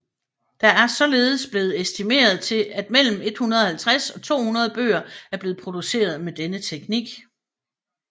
Der er således blevet estimeret til at mellem 150 og 200 bøger er blevet produceret med denne teknik